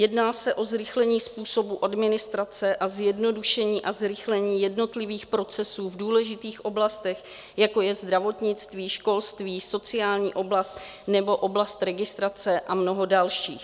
Jedná se o zrychlení způsobu administrace a zjednodušení a zrychlení jednotlivých procesů v důležitých oblastech, jako je zdravotnictví, školství, sociální oblast nebo oblast registrace a mnoho dalších.